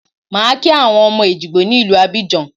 Màá kí àwọn ọmọ Èjìgbò ní ìlú Abidjan